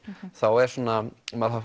þá er svona maður